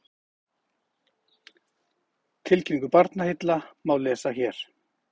Tilkynningu Barnaheilla má lesa hér